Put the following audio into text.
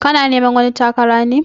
Kana neman wani takara ne?